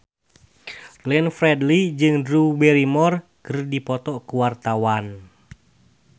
Glenn Fredly jeung Drew Barrymore keur dipoto ku wartawan